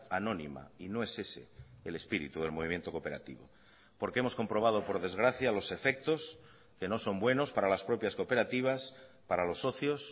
anónima y no es ese el espíritu del movimiento cooperativo porque hemos comprobado por desgracia los efectos que no son buenos para las propias cooperativas para los socios